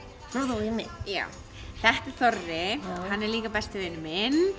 þú um mig já þetta er Þorri hann er líka besti vinur minn